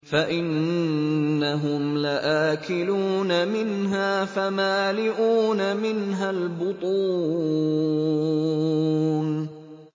فَإِنَّهُمْ لَآكِلُونَ مِنْهَا فَمَالِئُونَ مِنْهَا الْبُطُونَ